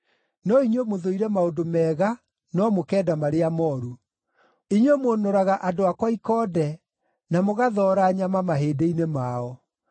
No inyuĩ mũthũire maũndũ mega no mũkenda marĩa mooru; inyuĩ mũnũraga andũ akwa ikonde, na mũgathoora nyama mahĩndĩ-inĩ mao.